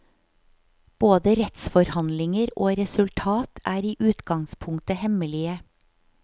Både rettsforhandlinger og resultat er i utgangspunktet hemmelige.